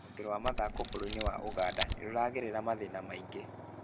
Rũhonge rwa mathako bũrũri-inĩ wa ũganda nĩrũragerera mathĩna maingĩ